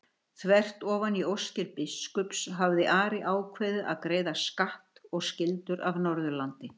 Þvert ofan í óskir biskups hafði Ari ákveðið að greiða skatt og skyldur af Norðurlandi.